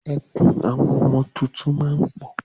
Ẹkún àwọn ọmọ tuntun máa ń pọ̀